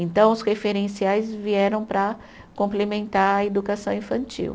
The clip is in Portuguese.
Então, os referenciais vieram para complementar a educação infantil.